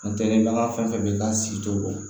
Ntɛnɛn bɛ an ka fɛn fɛn bɛ la sigi to